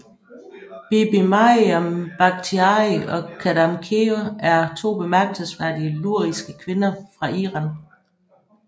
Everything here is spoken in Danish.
BibiMaryam Bakhtiari og QadamKheyr er to bemærkelsesværdige luriske kvinder fra Iran